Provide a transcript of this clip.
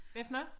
Hvad for noget?